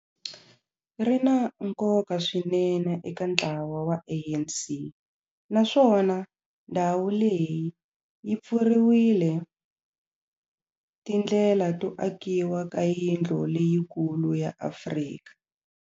Ri na nkoka swinene eka ntlawa wa ANC, naswona ndhawu leyi yi pfurile tindlela to akiwa ka yindlu leyikulu ya Afrika.